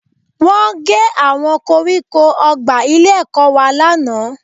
Wọ́n gé àwọn koríko ọgbà ilé-ẹ̀kọ́ wa lánàá